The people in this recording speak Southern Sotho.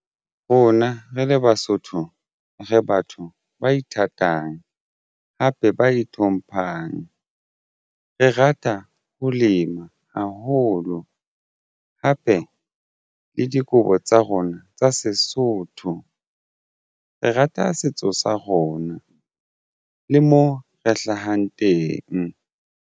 Rona re le Basotho re batho ba ithatang hape ba itlhomphang. Re rata ho lema haholo hape le dikobo tsa rona tsa Sesotho. Re rata setso sa rona le mo re hlahang teng.